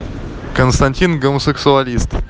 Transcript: константин гомосексуалист